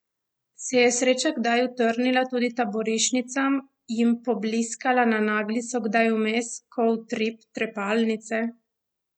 Se je sreča kdaj utrnila tudi taboriščnicam, jim pobliskala na naglico kdaj vmes, ko utrip trepalnice?